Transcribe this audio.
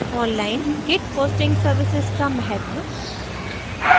* online git hosting services का महत्व